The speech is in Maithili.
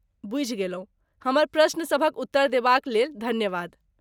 बुझि गेलहुँ, हमर प्रश्न सभक उत्तर देबा क लेल धन्यवाद।